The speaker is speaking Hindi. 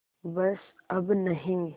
बस अब नहीं